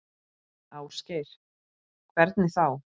Ásgeir: Hvernig þá?